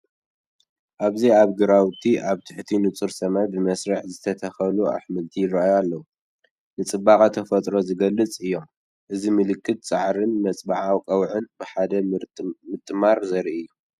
ኣብዚ ኣብ ግራውቲ፡ ኣብ ትሕቲ ንጹር ሰማይ ብመስርዕ ዝተተኽሉ ኣሕምልቲ ይራኣዩ ኣለው። ንጽባቐ ተፈጥሮ ዝገልፁ እዮም። እዚ ምልክት ጻዕርን መብጽዓ ቀውዒን ብሓደ ምጥማት ዘርኢ እዩ።